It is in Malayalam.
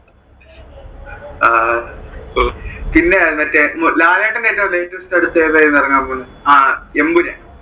അഹ് പിന്നെ മറ്റേ ലാലേട്ടന്റെ ഏറ്റവും latest അടുത്തത് ഏതായിരുന്നു ഇറങ്ങാൻ പോകുന്നത് അഹ് എംപുരാൻ.